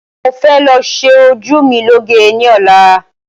Mọ fẹ lọ ṣe ojú mi lọ́ge ní ọ̀la